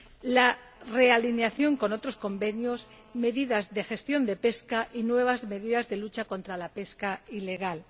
la realineación con otros convenios, medidas de gestión de pesca y nuevas medidas de lucha contra la pesca ilegal.